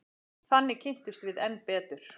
Þannig kynntumst við enn betur.